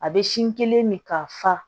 A bɛ sin kelen min ka fa